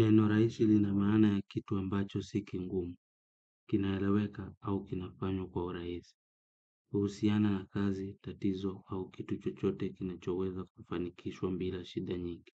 Neno rahisi lina maana ya kitu ambacho si kigumu, kinaeleweka au kinafanywa kwa urahisi. Uhusiana na kazi, tatizo au kitu chochote kinachoweza kufanikishwa bila shida nyingi.